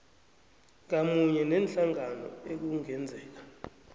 ngamunye neenhlangano ekungenzeka